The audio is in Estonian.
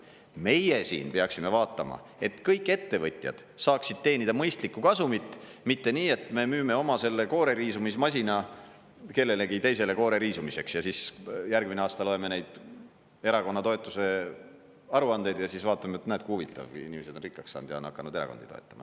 Meie siin peaksime vaatama, et kõik ettevõtjad saaksid teenida mõistlikku kasumit, mitte nii, et me müüme oma selle kooreriisumismasina kellelegi teisele koore riisumiseks ja siis järgmine aasta loeme neid erakonna toetuse aruandeid ja siis vaatame, et näed, kui huvitav, kui inimesed on rikkaks saanud ja on hakanud erakondi toetama.